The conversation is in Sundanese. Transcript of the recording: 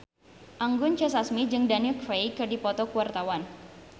Anggun C. Sasmi jeung Daniel Craig keur dipoto ku wartawan